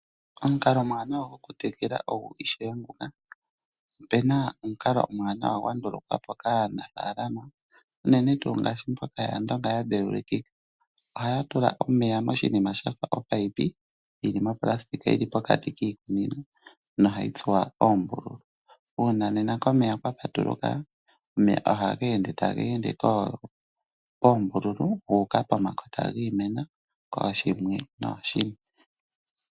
Opuna omukalo omwaanawa gwandukukwapo kaanafaalama unene ngaashi mboka yAandonga yadheulikika , ohaya tula omeya moshinima shafa omunino yili monayilona pokati kiimeno nohayi tsuwa oombululu. Uuna nena komeya kwapatuluka , omeya ohaga endele moombululu guuka pomakota giimeno kooshimwe nooshimwe.